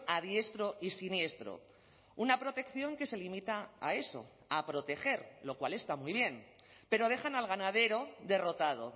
a diestro y siniestro una protección que se limita a eso a proteger lo cual está muy bien pero dejan al ganadero derrotado